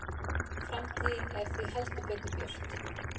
Framtíðin er því heldur betur björt